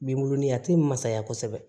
Binkurunin a ti masaya kosɛbɛ